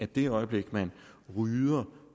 det øjeblik man rydder